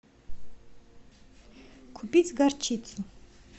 купить горчицу